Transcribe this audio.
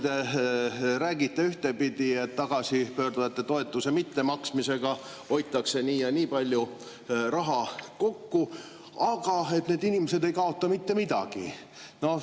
Te räägite ühtepidi, et tagasipöörduja toetuse mittemaksmisega hoitakse nii ja nii palju raha kokku, aga et need inimesed ei kaota mitte midagi.